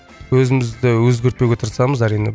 өзімізді өзгертпеуге тырысамыз әрине